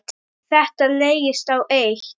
Þetta leggst á eitt.